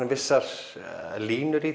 vissar línur í